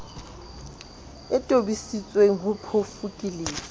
e tobisitsweng ho phofu ke